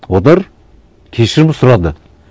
олар кешірім сұрады